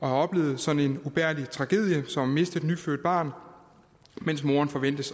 oplevet sådan en ubærlig tragedie som at miste et nyfødt barn mens moren forventes